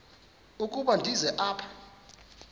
ukuba ndize apha